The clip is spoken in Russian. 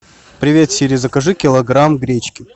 привет сири закажи килограмм гречки